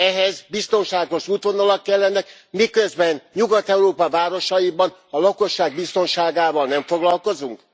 Ehhez biztonságos útvonalak kellenek, miközben Nyugat Európa városaiban a lakosság biztonságával nem foglalkozunk?